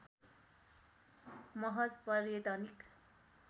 महज पर्यटनिक